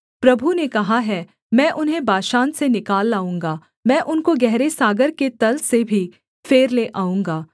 प्रभु ने कहा है मैं उन्हें बाशान से निकाल लाऊँगा मैं उनको गहरे सागर के तल से भी फेर ले आऊँगा